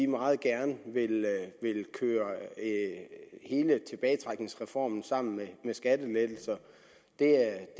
meget gerne vil køre hele tilbagetrækningsreformen sammen med skattelettelser det er